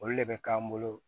Olu de bɛ k'an bolo